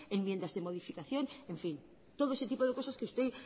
enmiendas de modificación en fin todo ese tipo de cosas que usted